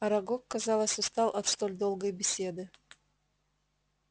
арагог казалось устал от столь долгой беседы